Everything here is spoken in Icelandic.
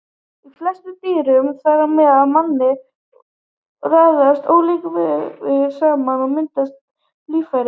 Í flestum dýrum, þar á meðal manninum, raðast ólíkir vefir saman og mynda líffæri.